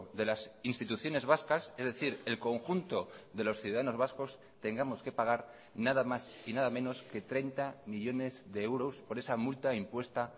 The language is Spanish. de las instituciones vascas es decir el conjunto de los ciudadanos vascos tengamos que pagar nada más y nada menos que treinta millónes de euros por esa multa impuesta